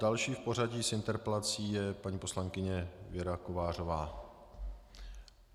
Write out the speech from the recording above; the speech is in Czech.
Další v pořadí s interpelací je paní poslankyně Věra Kovářová.